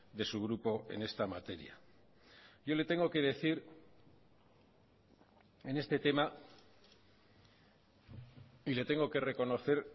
de su grupo en esta materia yo le tengo que decir en este tema y le tengo que reconocer